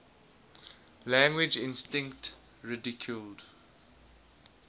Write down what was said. language instinct ridiculed